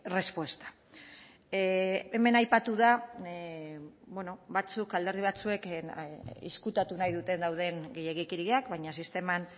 respuesta hemen aipatu da batzuk alderdi batzuek ezkutatu nahi duten dauden gehiegikeriak baina sisteman